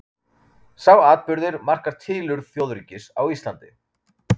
Sá atburður markar tilurð þjóðríkis á Íslandi.